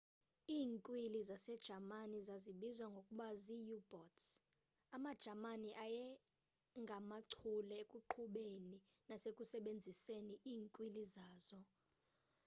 iinkwili zasejamani zazibizwa ngokuba zii-u-boats amajamani ayengamachule ekuqhubeni nasekusebenziseni iinkwili zazo